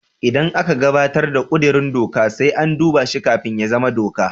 Idan aka gabatar da kudirin doka, sai an duba shi kafin ya zama doka.